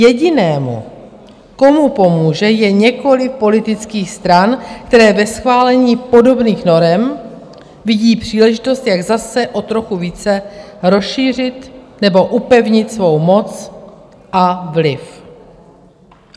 Jediný, komu pomůže, je několik politických stran, které ve schválení podobných norem vidí příležitost, jak zase o trochu více rozšířit nebo upevnit svou moc a vliv.